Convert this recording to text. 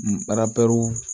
Baaraw